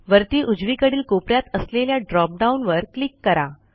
वरती उजवीकडील कोप यात असलेल्या drop डाउन वर क्लिक करा